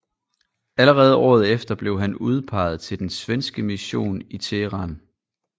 Allerede året efter blev han udpeget til den svenske mission i Teheran